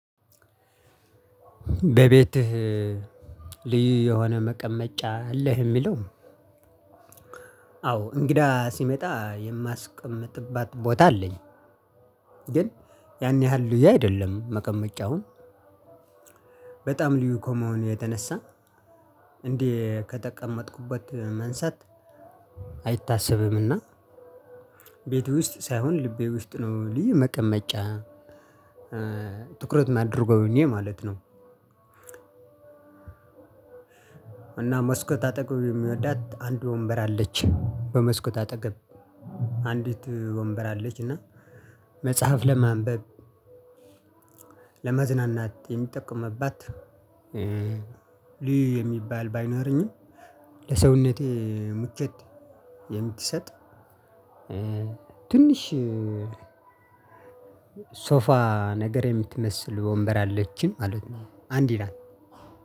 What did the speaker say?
በቤትህ ልዩ የሆነ መቀመጫ አለህ? የሚለው አዎ እንግዳ ሲመጣ የማስቀምጥባት ቦታ አለኝ። ግን ያን ያህል ልዩ አይደለም መቀመጫውን። በጣም ልዩ ኮሞን የተነሳ እንዴ ከጠቀመጥኩበት መንሳት። አይታሰብምእና ቤት ውስጥ ሳይሆን ልቤ ውስጥ ነው ልዩ መቀመጫ ትኩረት ማድረጉን ማለት ነው። እና መስኮት አጠገብ የሚወዳት አንድ ወንበር አለች በመስኮት አጠገብ አንዲት ወንበር አለች። እና መጽሐፍ ለማንበብ ለመዝናናት የሚጠቁምባት ልዩ የሚባል ባይኖረኝም ለሰውነቴ ምቾት የምትሰጥ ትንሽ ሶፋ ነገር የምትመስል ወንበር አለችኝ ማለት ነው። አንድ ይላል